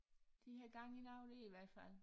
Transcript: De har gang i noget dér i hvert fald